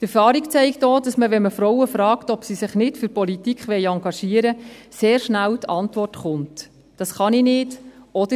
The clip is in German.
Die Erfahrung zeigt auch, dass wenn man Frauen fragt, ob sie sich in der Politik engagieren wollen, sehr schnell die Antwort kommt: «Das kann ich nicht», oder: